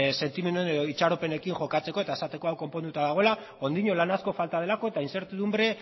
sentimenduekin edo itxaropenekin jokatzeko eta esateko hau konponduta dagoela oraindik lan asko falta delako eta inzertidunbre